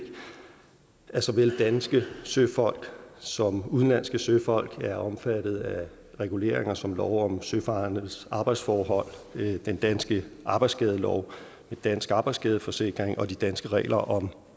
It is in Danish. at såvel danske søfolk som udenlandske søfolk er omfattet af reguleringer som lov om søfarendes arbejdsforhold den danske arbejdsskadelov den danske arbejdsskadeforsikring og de danske regler om